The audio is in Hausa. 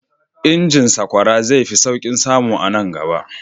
Injin sakwara zai fi sauƙin samu a nan gaba.